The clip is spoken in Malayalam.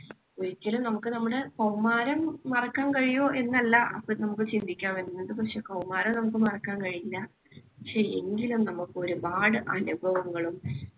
ഒരിക്കലും നമുക്ക് നമ്മുടെ കൗമാരം മറക്കാൻ കഴിയുമോ എന്നല്ല അപ്പൊ നമുക്ക് ചിന്തിക്കാന്‍ വരുന്നത്. പക്ഷേ കൗമാരം നമുക്ക് മറക്കാൻ കഴിയില്ല. പക്ഷേ എങ്കിലും നമുക്ക് ഒരുപാട് അനുഭവങ്ങളും